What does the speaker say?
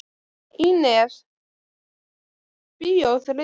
Ínes, hvaða myndir eru í bíó á þriðjudaginn?